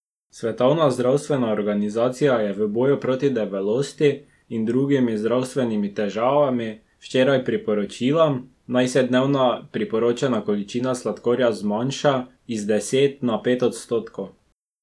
Svetovna zdravstvena organizacija je v boju proti debelosti in drugim zdravstvenim težavam včeraj priporočila, naj se dnevna priporočena količina sladkorja zmanjša iz deset na pet odstotkov.